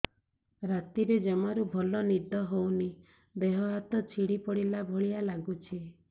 ରାତିରେ ଜମାରୁ ଭଲ ନିଦ ହଉନି ଦେହ ହାତ ଛିଡି ପଡିଲା ଭଳିଆ ଲାଗୁଚି